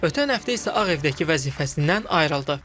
Ötən həftə isə Ağ Evdəki vəzifəsindən ayrıldı.